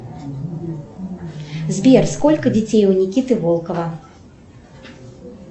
сбер сколько детей у никиты волкова